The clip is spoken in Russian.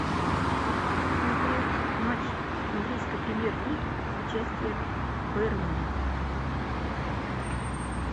смотреть матч английской премьер лиги с участием бернли